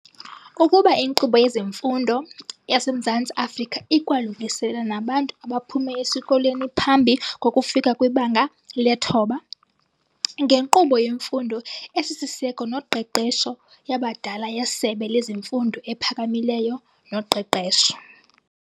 Ukuba inkqubo yezemfundo yaseMzantsi Afrika ikwalungiselela nabantu abaphume esikolweni phambi kokufika kwiBanga leThoba, ngenkqubo yemfundo esisiseko noqeqesho yabadala yeSebe lezeMfundo ePhakamileyo noQeqesho.